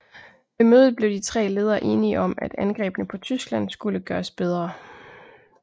Ved mødet blev de tre ledere enige om at angrebene på Tyskland skulle gøres bedre